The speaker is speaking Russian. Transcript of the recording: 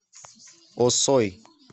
осой